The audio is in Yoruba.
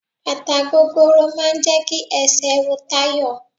Bàtà gogoro máà ń jẹ́ kí esè ro Tayo.